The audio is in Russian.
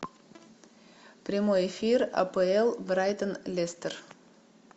прямой эфир апл брайтон лестер